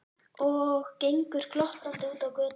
Og gengur glottandi út á götuna.